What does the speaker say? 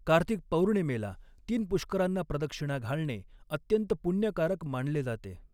कार्तिक पौर्णिमेला तीन पुष्करांना प्रदक्षिणा घालणे अत्यंत पुण्यकारक मानले जाते.